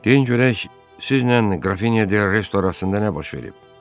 Deyin görək, sizlə qrafinya de Resto arasında nə baş verib?